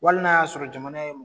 Wali n'a y'a sɔrɔ jamana ye